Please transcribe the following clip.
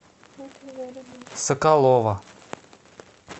соколова